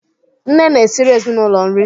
Nne na-esịrị ezịnulo nri